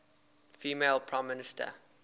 female prime minister